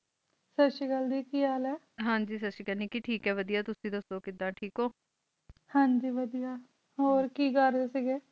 ਸਾਸਰੀਕਾਲ ਗ ਕੀ ਹਾਲ ਹ ਹਾਂਜੀ ਸਾਸਰੀਕਾਲ ਅਸੀਂ ਟਾਕ ਵਾ ਵੜਿਆ ਤੁਸੀਂ ਦਸੋ ਕੀੜਾ ਟਾਕ ਹੋ ਹਨ ਜੀ ਵੜਿਆ ਹੋਰ ਕੀ ਕਰ ਰਹੀ ਓ